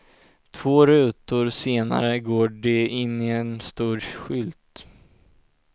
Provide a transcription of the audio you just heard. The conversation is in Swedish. Två rutor senare går de in i en stor skylt.